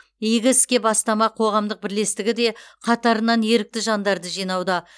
игі іске бастама қоғамдық бірлестігі де қатарына ерікті жандарды жинауда